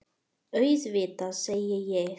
Auðvitað, segi ég.